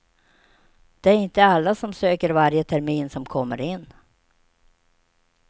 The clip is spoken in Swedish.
Det är inte alla som söker varje termin som kommer in.